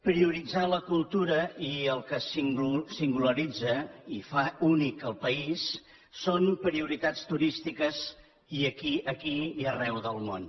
prioritzar la cultura i el que singularitza i fa únic el país són prioritats turístiques aquí i arreu del món